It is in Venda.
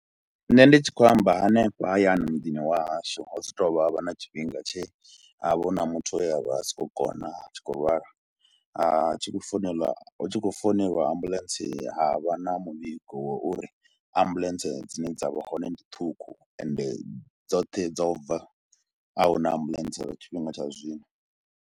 Nṋe ndi tshi khou amba hanefha hayani muḓini wa hashu ho swika ha tou vha ha vha na tshifhinga tshe ha vha hu na muthu we a vha a si khou kona, a tshi khou lwala, a tshi khou founela, hu tshi khou founela lwa ambuḽentse ha vha na muvhigo wa uri ambuḽentse dzine dza vha hone ndi ṱhukhu ende dzoṱhe dzo bva a hu na ambuḽentse lwa tshifhinga tsha zwino.